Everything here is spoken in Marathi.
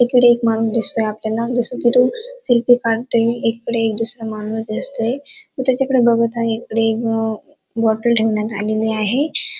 इकडे एक माणूस दिसतोय आपल्याला जस की तो सेल्फी काडतोय एकीकडे एक दूसरा माणूस दिसतोय तो त्याच्याकडे बघत आहे तो त्याच्याकडे बगतोय पुढे एक बॉटल ठेवण्यात आलेली आहे.